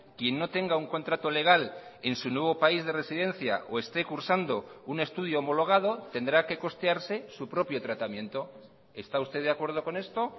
quien no tenga un contrato legal en su nuevo país de residencia o esté cursando un estudio homologado tendrá que costearse su propio tratamiento está usted de acuerdo con esto